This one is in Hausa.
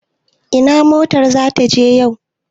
Ina motar za ta je yau?